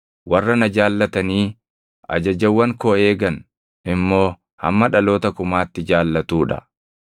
warra na jaallatanii ajajawwan koo eegan immoo hamma dhaloota kumaatti jaallatuu dha.